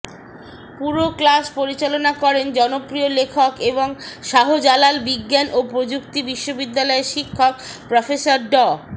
পুরো ক্লাস পরিচালনা করেন জনপ্রিয় লেখক এবং শাহজালাল বিজ্ঞান ও প্রযুক্তি বিশ্ববিদ্যালয়ের শিক্ষক প্রফেসর ড